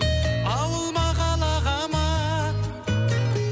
ауыл ма қалаға ма